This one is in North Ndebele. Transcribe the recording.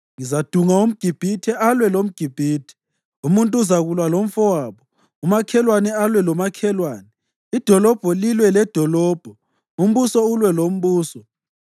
“Ngizadunga umGibhithe alwe lomGibhithe, umuntu uzakulwa lomfowabo, umakhelwane alwe lomakhelwane, idolobho lilwe ledolobho, umbuso ulwe lombuso.